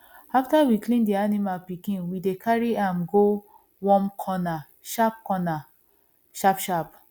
after we clean the animal pikin we dey carry am go warm corner sharp corner sharp sharp